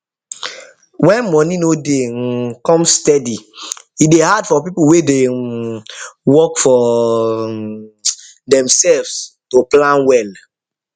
when money no dey um come steady e dey hard for people wey dey um work for um themselves to plan well